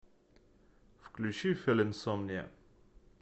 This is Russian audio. включи филинсомниа